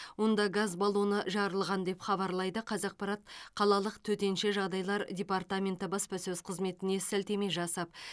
онда газ баллоны жарылған деп хабарлайды қазақпарат қалалық төтенше жағдайлар департаменті баспасөз қызметіне сілтеме жасап